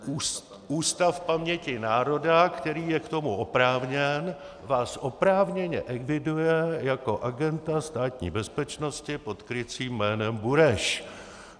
Ústav paměti národa, který je k tomu oprávněn, vás oprávněně eviduje jako agenta Státní bezpečnosti pod krycím jménem Bureš.